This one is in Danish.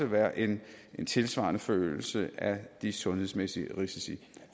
være en tilsvarende forøgelse af de sundhedsmæssige risici